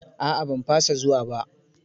A'a ban fasa zuwa ba.